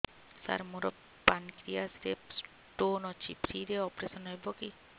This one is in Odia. ସାର ମୋର ପାନକ୍ରିଆସ ରେ ସ୍ଟୋନ ଅଛି ଫ୍ରି ରେ ଅପେରସନ ହେବ କି